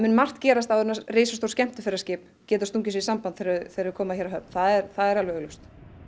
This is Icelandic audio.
margt gerast áður en risastór skemmtiferðaskip geti stungið sér í samband þegar þau koma hér höfn það er alveg augljóst